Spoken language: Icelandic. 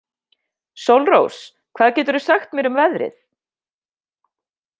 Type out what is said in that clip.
Sólrós, hvað geturðu sagt mér um veðrið?